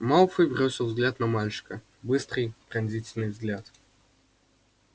малфой бросил взгляд на мальчика быстрый пронзительный взгляд